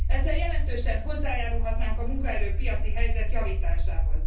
Ezzel jelentősen hozzájárulhatnánk a munkaerő piaci helyzet javításához.